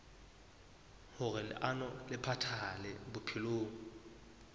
hoer leano le phethahale bophelong